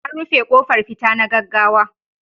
An rufe kofar fita na gaggawa.